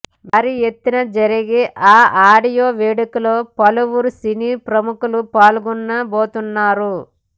భారీ ఎత్తున జరిగే ఈ ఆడియో వేడుకలో పలువురు సినీ ప్రముఖులు పాల్గొనబోతున్నారు